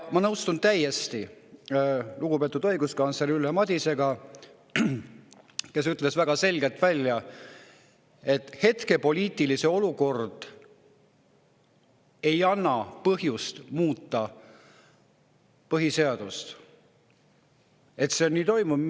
Ma täiesti nõustun lugupeetud õiguskantsleri Ülle Madisega, kes ütles väga selgelt välja, et hetke poliitiline olukord ei anna põhjust põhiseadust muuta.